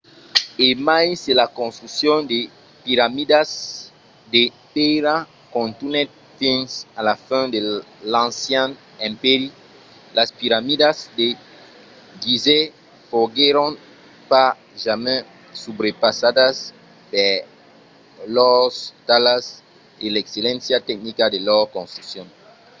e mai se la construccion de piramidas de pèira contunhèt fins a la fin de l'ancian empèri las piramidas de gizeh foguèron pas jamai subrepassadas per lors talhas e l’excelléncia tecnica de lor construccion